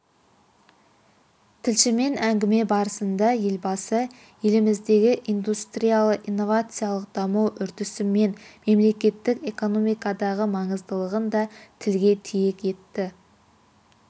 тілшімен әңгіме барысында елбасы еліміздегі индустриялды-инновациялық даму үрдісі мен мемлекеттің экономикадағы маңыздылығын да тілге тиек етті